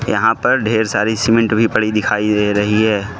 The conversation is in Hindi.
यहां पर ढेर सारी सीमेंट भी पड़ी दिखाई दे रही है।